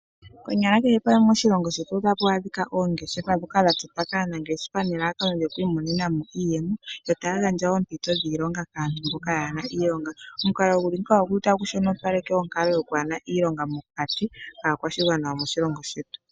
Konyala kehe pamwe moshilongo shetu otapu adhika oongeshefa ndhoka dhatotwa kaanangeshefa nelalakano lyokwiimonena mo iiyemo ,yo taya gandja wo oompito dhiilonga kaantu mboka yaana iilonga. Omukalo guli ngeyika otagu shonopaleke onkalo yokwaana iilonga mokati kaakwashigwana yomoshilongo shetu.